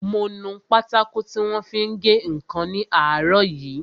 Mo nu pátákò tí wọ́n fi ń gé ǹkan ní àárọ̀ yìí